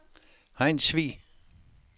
Hejnsvig